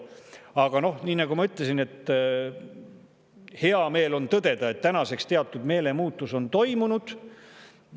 Aga noh, nagu ma ütlesin, on hea meel tõdeda, et tänaseks on teatud meelemuutus toimunud.